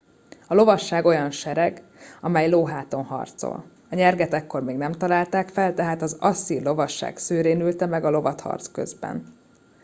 a lovasság olyan sereg amely lóháton harcol a nyerget ekkor még nem találták fel tehát az asszír lovasság szőrén ülte meg a lovat harc közben